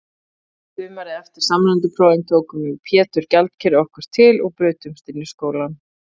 Sumarið eftir samræmdu prófin tókum við Pétur gjaldkeri okkur til og brutumst inn í skólann.